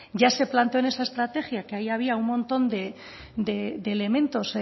ya se planteó en esa estrategia que ahí había un montón de elementos